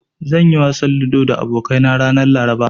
Zan yi wasan ludo da abokaina ranar Laraba.